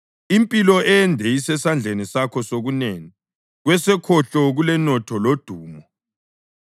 Impilo ende isesandleni sakho sokunene; kwesokhohlo kulenotho lodumo.